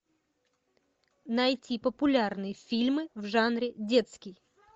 найти популярные фильмы в жанре детский